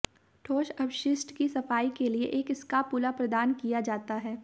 ठोस अपशिष्ट की सफाई के लिए एक स्कापुला प्रदान किया जाता है